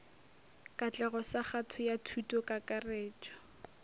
katlego sa kgato ya thutokakarretšo